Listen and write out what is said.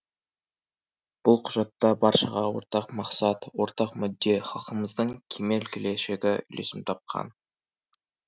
бұл құжатта баршаға ортақ мақсат ортақ мүдде халқымыздың кемел келешегі үйлесім тапқан